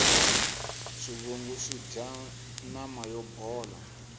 swivungu swidya nama yo bola